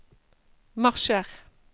marsjer